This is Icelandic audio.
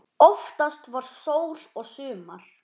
Oftast var sól og sumar.